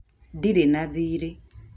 Ndirĩ na thiirĩ